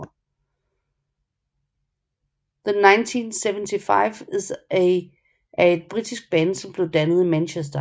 The 1975 er et britisk band som blev dannet i Manchester